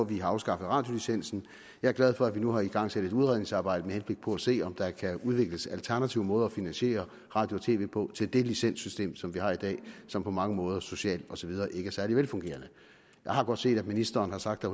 vi har afskaffet radiolicensen jeg er glad for at vi nu har igangsat et udredningsarbejde med henblik på at se om der kan udvikles alternative måder at finansiere radio og tv på til det licenssystem som vi har i dag som på mange måder socialt og så videre ikke er særlig velfungerende jeg har godt set at ministeren har sagt at